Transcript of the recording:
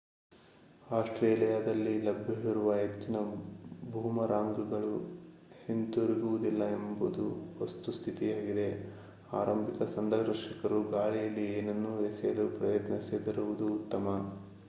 ಆಸ್ಟ್ರೇಲಿಯಾದಲ್ಲಿ ಲಭ್ಯವಿರುವ ಹೆಚ್ಚಿನ ಬೂಮರಾಂಗ್‌ಗಳು ಹಿಂತಿರುಗುವುದಿಲ್ಲ ಎಂಬುದು ವಸ್ತುಸ್ಥಿತಿಯಾಗಿದೆ. ಆರಂಭಿಕ ಸಂದರ್ಶಕರು ಗಾಳಿಯಲ್ಲಿ ಏನನ್ನೂ ಎಸೆಯಲು ಪ್ರಯತ್ನಿಸದಿರುವುದು ಉತ್ತಮ